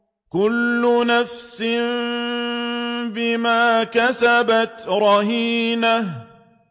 كُلُّ نَفْسٍ بِمَا كَسَبَتْ رَهِينَةٌ